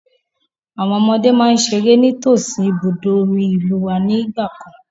Àwọn ọmọdé máa ń ṣeré ní tòsí ibùdó omi ìlúu wá ní ìgbàkan.